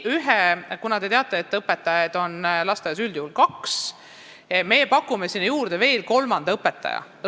Nagu te teate, on õpetajaid lasteaiarühmas üldjuhul kaks, kuid me pakume sinna veel kolmanda õpetaja juurde.